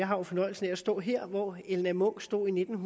har fornøjelsen af at stå her hvor elna munch stod i nitten